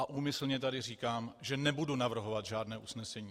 A úmyslně tady říkám, že nebudu navrhovat žádné usnesení.